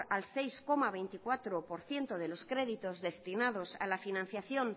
al seis coma veinticuatro por ciento de los créditos destinados a la financiación